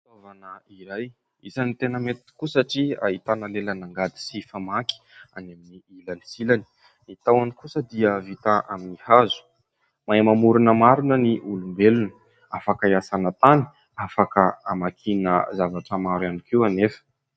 Fitaovana iray isany tena mety tokoa satria ahitana lelan'angady sy famaky any amin'ny ilany sy ny ilany. Ny tahony kosa dia vita amin'ny hazo. Mahay mamorona marina ny olombelona. Afaka hiasana tany, afaka hamakiana zavatra maro ihany koa anefa.